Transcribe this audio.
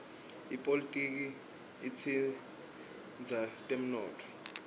ipolitiki itsindza temnotfo